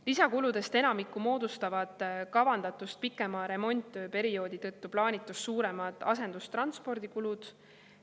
Lisakuludest enamiku moodustavad kavandatust pikema remonttöö perioodi tõttu plaanitust suuremad asendustranspordi kulud.